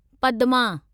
Padma